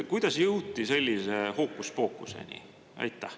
Kuidas jõuti sellise hookuspookuseni?